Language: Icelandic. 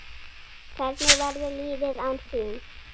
Hvernig verður lífið án þín?